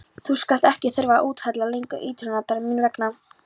Þú skalt ekki þurfa að úthella lengur iðrunartárum mín vegna.